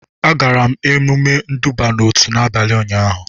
Agara m emume nduba n'otu n'abalị ụnyaahụ